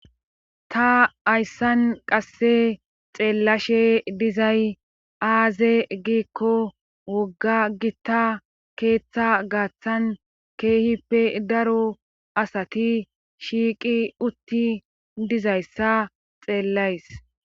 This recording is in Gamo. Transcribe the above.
Ta hayssan qase xeelashe dizay aaze giiko woga gita keeththa gaathan keehippe daro asati shiiqi uti dizayssa xeelayss.